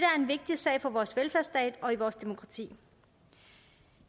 vigtig sag for vores velfærdsstat og i vores demokrati